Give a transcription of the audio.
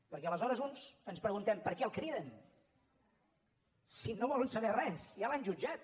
perquè aleshores uns ens preguntem per què el criden si no volen saber res ja l’han jutjat